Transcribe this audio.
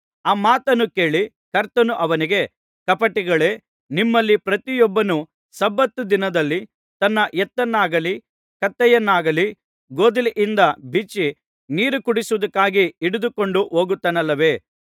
ಆ ಮಾತನ್ನು ಕೇಳಿ ಕರ್ತನು ಅವನಿಗೆ ಕಪಟಿಗಳೇ ನಿಮ್ಮಲ್ಲಿ ಪ್ರತಿಯೊಬ್ಬನು ಸಬ್ಬತ್ ದಿನದಲ್ಲಿ ತನ್ನ ಎತ್ತನ್ನಾಗಲಿ ಕತ್ತೆಯನ್ನಾಗಲಿ ಗೋದಲಿಯಿಂದ ಬಿಚ್ಚಿ ನೀರು ಕುಡಿಸುವುದಕ್ಕಾಗಿ ಹಿಡಿದುಕೊಂಡು ಹೋಗುತ್ತಾನಲ್ಲವೇ